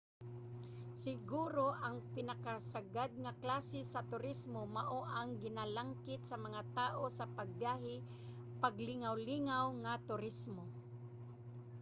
siguro ang pinakasagad nga klase sa turismo mao ang ginalangkit sa mga tao sa pagbiyahe: paglingawlingaw nga turismo